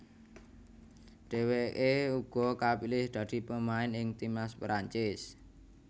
Dheweke uga kapilih dadi pemain ing timnas Perancis